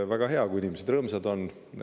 Väga hea, kui inimesed rõõmsad on.